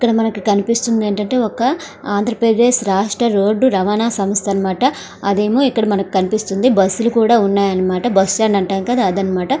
ఇక్కడ మనకి కనిపిస్తుంది ఏంటంటే ఒక ఆంధ్ర ప్రదేశ్ రాష్ట్ర రోడ్డు రవాణా సంస్థ అనే మాట అదేమో ఇక్కడ మనకి కనిపిస్తుంది బస్సులు కూడా ఉన్నాయి బస్టాండ్ అంటాం కదా అది అన్నమాట.